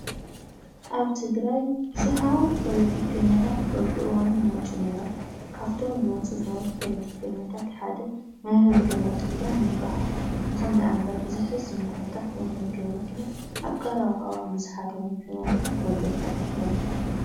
ኣብ ትግራይ ብዙሓት ፖለቲከኛታት በብእዋኑ ይመፁ ኔይሮም። ካብቶም ዝመፁ ዝነበሩ ፖለቲከኛታት ሓደ መ/ር ገ/ኪዳን ይባሃል። ይኹን ደኣምበር ብዘሕዝን ኩነታት መ/ር ገ/ኪዳን ኣብ ቀረባ ብዝሓደሮም ሕማም መይቶም ተረኺቦም እዮም።